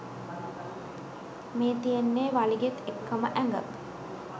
මේ තියෙන්නේ වලිගෙත් එක්කම ඇඟ